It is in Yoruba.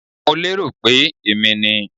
I was thinking It was me